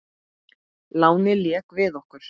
Lánið lék við okkur.